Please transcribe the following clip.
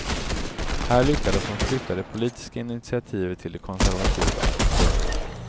Här lyckades hon flytta det politiska initiativet till de konservativa. punkt